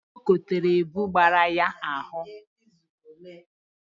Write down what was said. Ọ kotere ebu gbara ya n'ahụ